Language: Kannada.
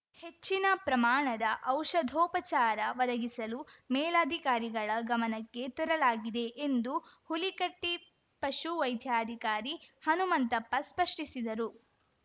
ಹೆಚ್ಚಿನ ಪ್ರಮಾಣದ ಔಷಧೋಪಚಾರ ಒದಗಿಸಲು ಮೇಲಾಧಿಕಾರಿಗಳ ಗಮನಕ್ಕೆ ತರಲಾಗಿದೆ ಎಂದು ಹುಲಿಕಟ್ಟಿಪಶು ವೈದಾಧಿಕಾರಿ ಹನುಮಂತಪ್ಪ ಸ್ಪಷ್ಟಿಸಿದರು